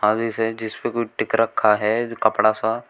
आगे से जिस पे कोई टिक रखा है कपड़ा सा।